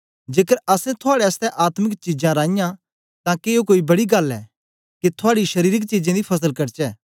जेकर असैं थुआड़े आसतै आत्मिक चीजां राइयां तां के ए कोई बड़ी गल्ल ऐ के थूआडी शरीरक चीजें दी फसल कटचै